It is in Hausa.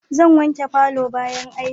Zan wanke palour bayan aiki